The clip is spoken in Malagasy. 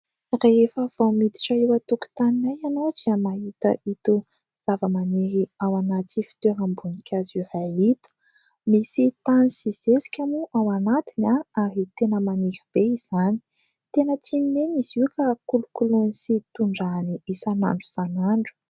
Rehefa vao miditra eo an-tokotaninay ianao, dia mahita itony zava-maniry ao anaty fitoeram-bonikazo itony. Misy tany sy zesika moa ao anatiny ahy ary tena maniry be izany, tena tsy nenina izy io ka kolokoloina sy tondrahana isan'andro isan'andro.